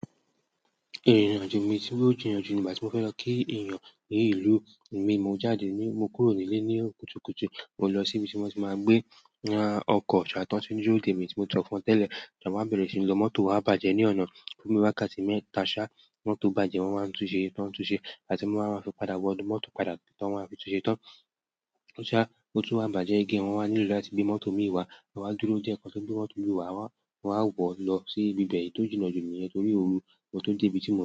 Mo fẹ́ lọ kí èèyàn ní ìlú imi, mo jáde ni mo kúrò ní ilẹ òwúrọ̀ kùtùkùtù mo lọ sí ibi tí mo tí máa gbé okọ́ sá tí wọ́n ti ń dúró dè mi tí mo sọfún wọn tẹ́lẹ̀, ìgbà tí àwa bẹ̀rẹ̀ sí ń lò mọ́tò wa bàjẹ́ ní ọnà fún bí wákàtí mẹ́ta sha, mọ́tò bàjẹ́ wọ́n wá ń tunṣe tó ń tunṣe ìgbàtí mo máa fi padà wo inú mọ́tò padà tí wọ́n máa fi tunṣe tán ṣá, mọ́tò wa bàjẹ́ again wọ́n wá nílò láti gbé mọ́tò imi wá àwa dúró díẹ̀ kó tó gbé mọ́tò ìmí wá, àwa wo lọ síbi ibi be, iyi tó jìnà jù nìyẹn torí òru.